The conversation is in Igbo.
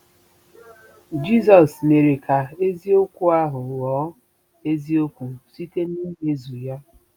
Jizọs mere ka eziokwu ahụ ghọọ eziokwu site n'imezu ya.